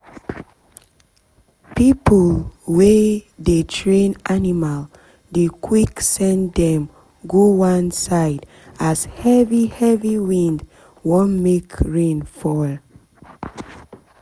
people wey dey train animal dey quick send dem go one side as heavy heavy wind wan make rain fall